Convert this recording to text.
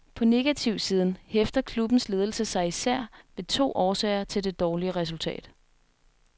På negativsiden hæfter klubbens ledelse sig især ved to årsager til det dårlige resultat.